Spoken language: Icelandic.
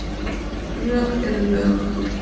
Lög eru lög